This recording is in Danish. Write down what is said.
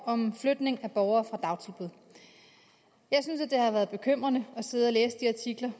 om flytning af borgere fra dagtilbud jeg synes at det har været bekymrende at sidde og læse de artikler